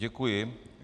Děkuji.